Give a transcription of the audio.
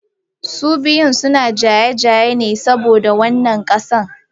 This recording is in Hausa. Su biyun suna jayayya ne saboda wannan ƙasa.